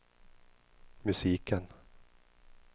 musiken